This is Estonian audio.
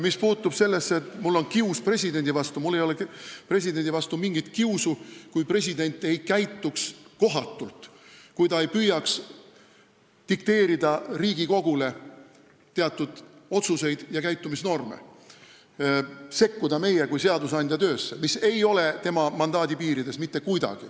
Mis puutub sellesse, et mul on kius presidendi vastu, siis mul ei oleks presidendi vastu mingit kiusu, kui president ei käituks kohatult, kui ta ei püüaks dikteerida Riigikogule teatud otsuseid ja käitumisnorme ega sekkuda meie kui seadusandja töösse, mis ei jää mitte kuidagi tema mandaadi piiridesse.